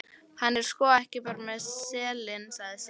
Hann er sko ekki bara með selinn, sagði Siggi.